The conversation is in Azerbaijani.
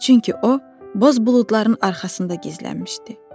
Çünki o, boz buludların arxasında gizlənmişdi.